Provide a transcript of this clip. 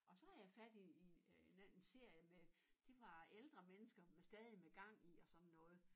Og så havde jeg fat i i øh en anden serie med det var ældre mennesker med stadig med gang i og sådan noget